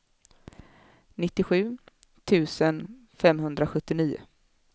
nittiosju tusen femhundrasjuttionio